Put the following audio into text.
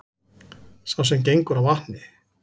Sá sem gengur á vatni,